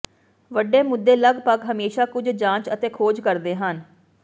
ਵੱਡੇ ਮੁੱਦੇ ਲਗਭਗ ਹਮੇਸ਼ਾ ਕੁਝ ਜਾਂਚ ਅਤੇ ਖੋਜ ਕਰਦੇ ਹਨ